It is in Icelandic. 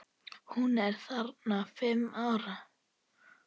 Hún er þarna fimm ára.